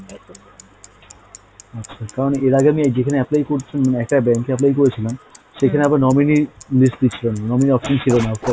আচ্ছা কারণ এর আগে আমি যেখানে apply করেছিলাম মানে একটা bank এ apply করেছিলাম সেখানে আবার nominee list ছিলোনা, nominee option ছিল না offline,